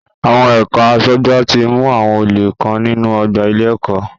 Àwọn ẹ̀ka aṣọ́gbà ti mú àwọn olè kan nínú ọgbà ilé-ẹ̀kọ́.